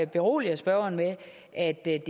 berolige spørgeren med at det ikke